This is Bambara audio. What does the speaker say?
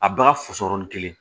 A baga fusɔrɔlen kelen